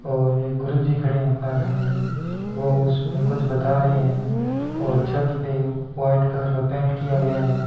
और एक गुरुजी खड़े है पास में वो उसमें कुछ बता रे है और छत पे व्हाइट कलर का पेंट किया गया है।